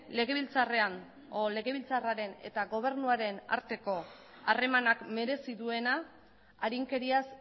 legebiltzarraren eta gobernuaren arteko harremanak merezi duena arinkeriaz